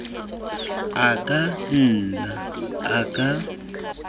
a ka nna a ka